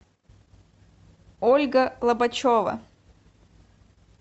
ольга лобачева